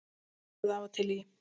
Hrærið af og til í.